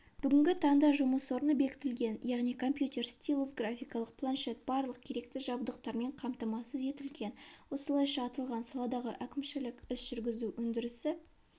бүгінгі таңда жұмыс орны бекітілген яғни компьютер стилус гарфикалық планшет барлық керекті жабдықтармен қамтамасыз етілген осылайша аталған саладағы әкімшілік іс-жүргізу өндірісі